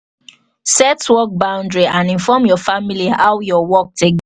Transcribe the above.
set work boundry and inform your family how your work take